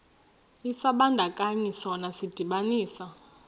isibandakanyi sona sidibanisa